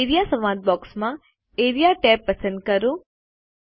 A R E A સંવાદ box માં AREA tab પસંદ કરો